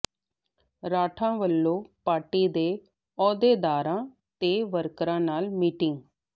ਰਾਠਾਂ ਵੱਲੋਂ ਪਾਰਟੀ ਦੇ ਅਹੁਦੇਦਾਰਾਂ ਤੇ ਵਰਕਰਾਂ ਨਾਲ ਮੀਟਿੰਗ